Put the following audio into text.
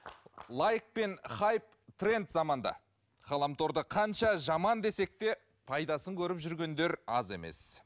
лайк пен хайп тренд заманда ғаламторды қанша жаман десек те пайдасын көріп жүргендер аз емес